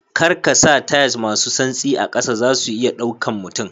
Kar kasa tiles masu santsi a kasa zasu iya ɗaukan mutum.